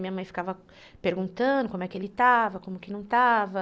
Minha mãe ficava perguntando como é que ele estava, como que não estava.